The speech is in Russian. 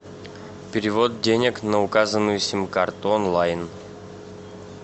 перевод денег на указанную сим карту онлайн